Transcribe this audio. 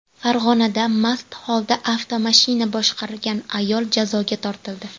Farg‘onada mast holda avtomashina boshqargan ayol jazoga tortildi.